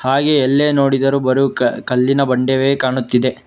ಹಾಗೆ ಎಲ್ಲೇ ನೋಡಿದರೂ ಬರು ಕ ಕಲ್ಲಿನ ಬಂಡೆವೇ ಕಾಣುತ್ತಿದೆ.